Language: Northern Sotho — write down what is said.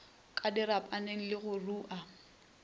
ka dirapaneng le go rua